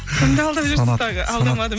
кімді алдап жүрсіз тағы алдамадым